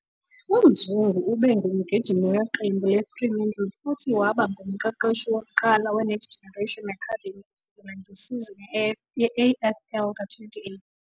UMzungu ube ngumgijimi weqembu leFremantle futhi waba ngumqeqeshi wokuqala we-Next Generation Academy kusukela ngesizini ye-AFL ka-2018.